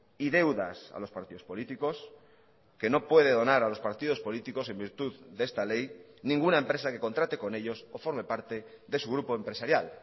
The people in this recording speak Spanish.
y deudas a los partidos políticos que no puede donar a los partidos políticos en virtud de esta ley ninguna empresa que contrate con ellos o forme parte de su grupo empresarial